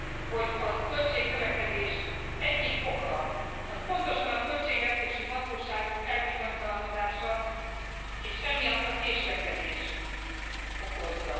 hogy a költségnövekedés egyik oka pontosan a költségvetési hatóságok elbizonytalanodása és ez késlekedést okoz.